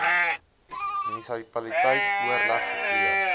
munisipaliteit oorleg gepleeg